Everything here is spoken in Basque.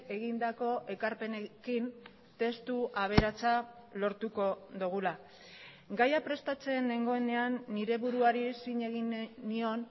egindako ekarpenekin testu aberatsa lortuko dugula gaia prestatzen nengoenean nire buruari zin egin nion